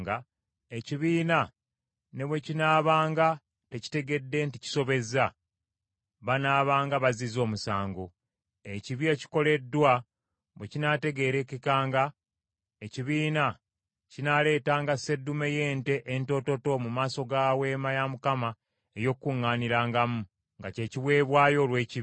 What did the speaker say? Ekibi ekikoleddwa bwe kinaategeerekekanga, ekibiina kinaaleetanga sseddume y’ente entoototo mu maaso ga Weema ey’Okukuŋŋaanirangamu, nga ky’ekiweebwayo olw’ekibi.